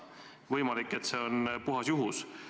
Võimalik, et see on puhas juhus.